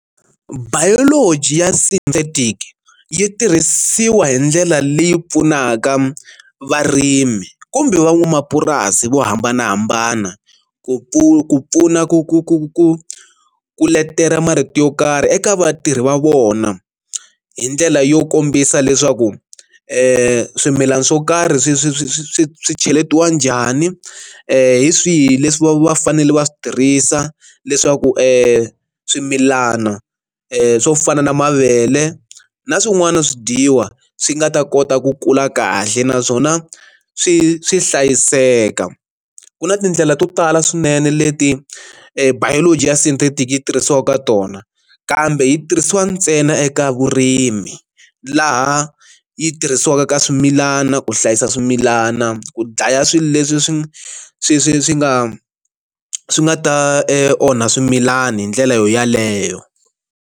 Biology ya synthetic yi tirhisiwa hi ndlela leyi pfunaka varimi kumbe van'wamapurasi vo hambanahambana ku pfu ku pfuna ku ku ku ku ku letela marito yo karhi eka vatirhi va vona hi ndlela yo kombisa leswaku swimilana swo karhi swi swi swi swi swi swi cheletiwa njhani hi swihi leswi va fanele va swi tirhisa leswaku swimilana swo fana na mavele na swin'wana swi dyiwa swi nga ta kota ku kula kahle naswona swi swi hlayiseka, ku na tindlela to tala swinene leti biology ya synthetic yi tirhisiwa ka tona kambe yi tirhisiwa ntsena eka vurimi laha yi tirhisiwaka ka swimilana ku hlayisa swimilana, ku dlaya swilo leswi swi swi swi swi nga swi nga ta e onha swimilani hi ndlela yo yaleyo.